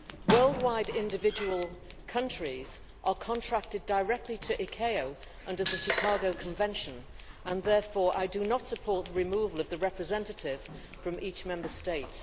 Worldwide, individual countries are contracted directly to ICAO under the Chicago Convention, and therefore I do not support the removal of the representative from each Member State.